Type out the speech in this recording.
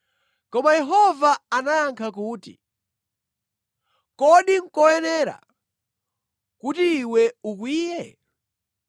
Koma Yehova anayankha kuti, “Kodi nʼkoyenera kuti iwe ukwiye?”